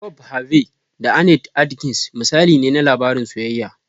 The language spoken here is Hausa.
"Bob Harvey da Annete Adkins" misali ne na labarin soyayya.